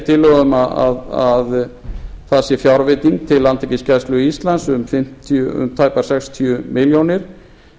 gert ráð fyrir að það sé fjárveiting til landhelgisgæslu íslands um tæpar sextíu milljónir